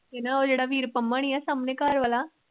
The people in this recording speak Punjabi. ਇਹ ਨਾ ਉਹ ਜਿੜਾ ਵੀਰ ਪੰਮਾ ਨੀ ਏ ਸਾਮਣੇ ਘਰ ਵਾਲਾ